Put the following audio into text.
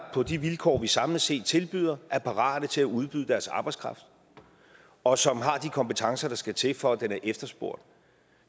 på de vilkår vi samlet set tilbyder er parate til at udbyde deres arbejdskraft og som har de kompetencer der skal til for at den er efterspurgt